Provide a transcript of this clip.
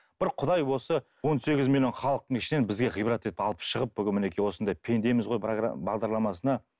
бір құдай осы он сегіз миллион халықтың ішінен бізге ғибрат етіп алып шығып бүгін мінекей осындай пендеміз ғой бағдарламасына